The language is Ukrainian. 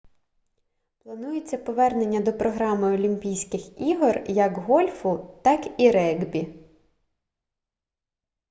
планується повернення до програми олімпійських ігор як гольфу так і регбі